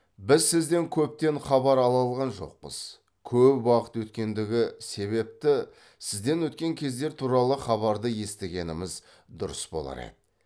біз сізден көптен хабар ала алған жоқпыз көп уақыт өткендігі себепті сізден өткен кездер туралы хабарды естігеніміз дұрыс болар еді